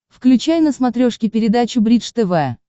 включай на смотрешке передачу бридж тв